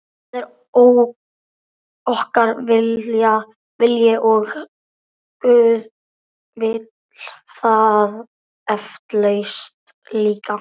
Það er okkar vilji og guð vill það eflaust líka.